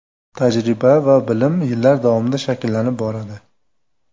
Tajriba va bilim yillar davomida shakllanib boradi.